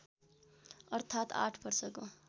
अर्थात् आठ वर्षको